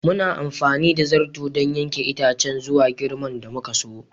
Muna amfani da zarto don yanke itacen zuwa girman da muka so.